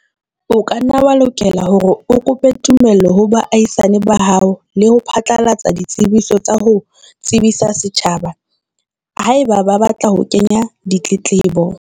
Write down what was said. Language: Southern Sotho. O ka nna wa lokela hore o kope tumello ho baahisane ba hao le ho phatlalatsa ditsebiso tsa ho tsebisa setjhaba, haeba ba batla ho kenya ditletlebo.